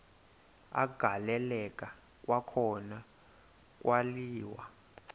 agaleleka kwakhona kwaliwa